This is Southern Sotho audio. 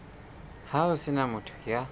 ho se na motho ya